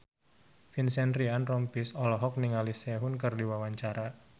Vincent Ryan Rompies olohok ningali Sehun keur diwawancara